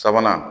Sabanan